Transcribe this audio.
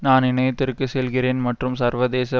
நான் இணையத்திற்கு செல்கிறேன் மற்றும் சர்வதேச